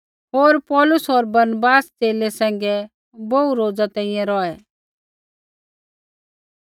होर पौलुस होर बरनबास च़ेले सैंघै बोहू रोज़ा तैंईंयैं रौहै